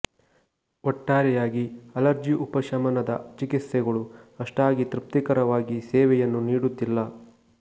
ಒಟ್ಟಾರೆಯಾಗಿ ಅಲರ್ಜಿ ಉಪಶಮನದ ಚಿಕಿತ್ಸೆಗಳು ಅಷ್ಟಾಗಿ ತೃಪ್ತಿಕರವಾಗಿ ಸೇವೆಯನ್ನು ನೀಡುತ್ತಿಲ್ಲ